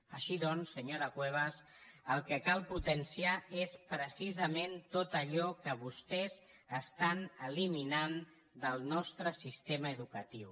així doncs senyora cuevas el que cal potenciar és precisament tot allò que vostès estan eliminant del nostre sistema educatiu